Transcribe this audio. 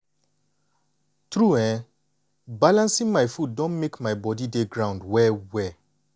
true[um]balancing my food don make my body dey ground well well.